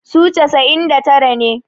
su casa'in da tara ne